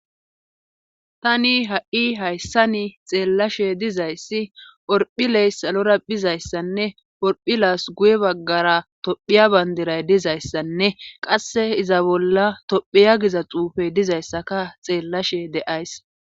Tani ha7i hayssani xeellashe dizayssi orphiley salora bizayssanne orphi laas guye baggara tophiya bandiray dizayssanne qasse iza bolla tophiya giza xuufey dizayssaka xeellashe de7ays.